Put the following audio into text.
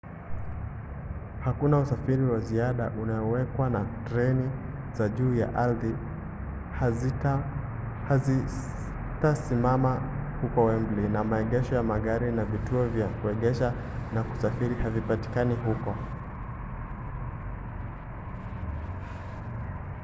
hakuna usafiri wa ziada unaowekwa na treni za juu ya ardhi hazitasimama huko wembley na maegesho ya magari na vituo vya kuegesha na kusafiri havipatikani huko